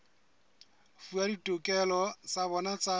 fuwa ditokelo tsa bona tsa